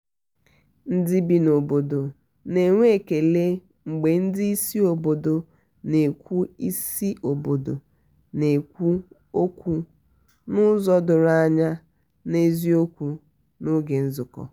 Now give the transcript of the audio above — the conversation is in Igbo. ndị bi n'obodo na-enwe ekele mgbe ndị isi obodo na-ekwu isi obodo na-ekwu okwu n'ụzọ doro anya na n'eziokwu n'oge nzuko.